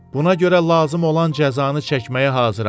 Buna görə lazım olan cəzanı çəkməyə hazıram.